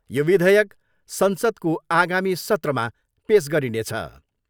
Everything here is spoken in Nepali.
यो विधेयक संसदको आगामी सत्रमा पेस गरिनेछ।